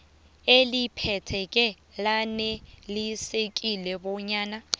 eliphetheko lanelisekile bonyana